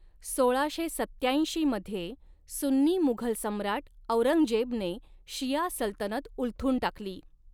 सोळाशे सत्त्याऐंशी मध्ये सुन्नी मुघल सम्राट औरंगजेबने शिया सल्तनत उलथून टाकली.